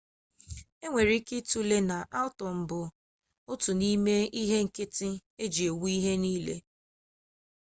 e nwere ike ịtụle na atọm bụ otu n'ime ihe nkịtị eji ewu ihe niile